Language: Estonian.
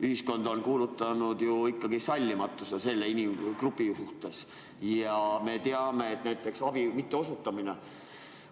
Ühiskond on kuulutanud selle inimgrupi suhtes sallimatust, samas me teame, et näiteks abi mitteosutamine